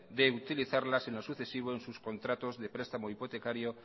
de utilizarlas en lo sucesivo en sus contratos de prestamo hipotecario